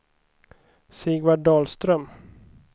Sigvard Dahlström